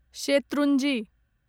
Shetrunji